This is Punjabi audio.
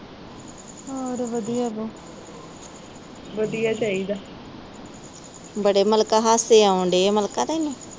ਬੜੇ ਮਲਕਾ ਤੈਨੂੰ ਹਾਸੇ ਆਉਣ ਦਏ ਆ, ਮਲਕਾ ਤੈਨੂੰ।